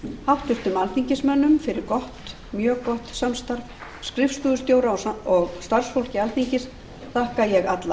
háttvirtum alþingismönnum fyrir mjög gott samstarf skrifstofustjóra og starfsfólki alþingis þakka ég alla